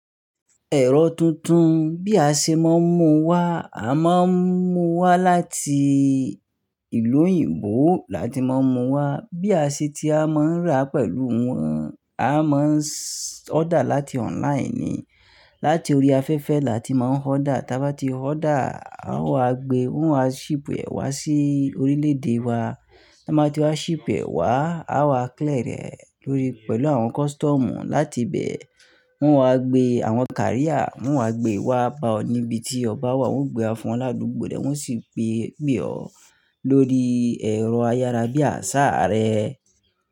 Ẹ̀rọ tuntun bí a ṣe máa ń mu wá, a máa ń mu wá láti ìlú òyìnbó láti máa mu wá. Bí a ṣe ti a máa ń rà pẹ̀lú wọn, a máa ń order láti online ni. Láti orí afẹ́fẹ́ láti máa ń order. Tábá ti order, a ó wá gbe, wọ́n á ship ẹ wá sí orílẹ̀-èdè wa. Ti won ba tí wa ship ẹ wá, a wá clear ẹ lórí pẹ̀lú àwọn custom. Láti bẹ́ẹ̀, wọ́n wá gbé àwọn káríà, wọ́n wá gbé wá bá ọ níbi tí ọba wà, wọ́n gbé ẹ fún ọ ládùgbò rẹ̀ wọ́n sì gbé ọ lórí ẹ̀rọ ayárabíà asáà rẹ.